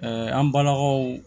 an balakaw